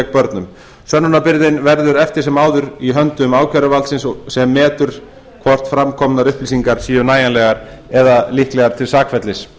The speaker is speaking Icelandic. börnum sönnunarbyrðin verður eftir sem áður í höndum ákæruvaldsins sem metur hvort fram komnar upplýsingar séu nægilegar eða líklegar til sakfellis